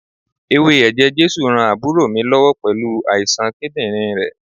Ewé ẹ̀jẹ̀ Jésù ran àbúrò mi lọ́wọ́ pẹ̀lú àìsàn kídírìn rẹ̀.